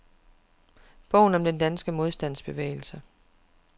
Bogen om den danske modstandsbevægelse.